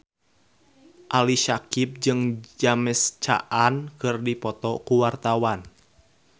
Ali Syakieb jeung James Caan keur dipoto ku wartawan